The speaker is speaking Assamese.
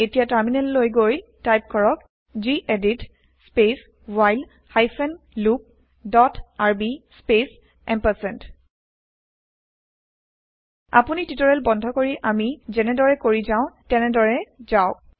এতিয়া টাৰমিনেল লৈ গৈ টাইপ কৰক gedit space while hyphen loop dot rb space আপুনি টিওটেৰিয়েল বন্ধ কৰি আমি যেনেদৰে কৰি যাও তেনেদৰে যাওক